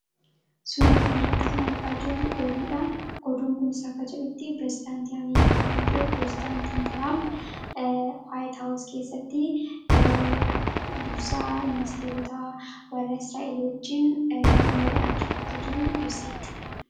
Kan asirratti argaa jirru Oduudha. Oduun kun faayidaa madaalamuu hin dandeenye fi bakka bu’iinsa hin qabne qaba. Jireenya guyyaa guyyaa keessatti ta’ee, karoora yeroo dheeraa milkeessuu keessatti gahee olaanaa taphata. Faayidaan isaa kallattii tokko qofaan osoo hin taane, karaalee garaa garaatiin ibsamuu danda'a.